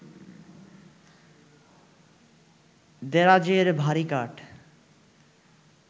দেরাজের ভারি কাঠ